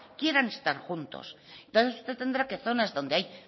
quieran estar juntos entonces usted tendrá que zonas donde hay